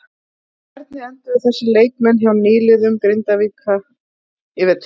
En hvernig enduðu þessir leikmenn hjá nýliðum Grindvíkinga í vetur?